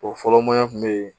O fɔlɔ maɲan kun bɛ yen